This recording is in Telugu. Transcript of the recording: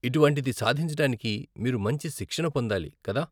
ఇటువంటిది సాధించడానికి , మీరు మంచి శిక్షణ పొందాలి, కదా ?